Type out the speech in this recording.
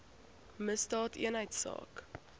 misdaadeenheidsaak